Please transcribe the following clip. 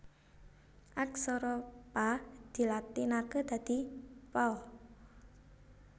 Aksara Pa dilatinaké dadi Pa